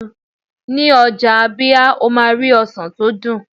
ní ọjà ábíá, o ma ri ọsàn ti o dun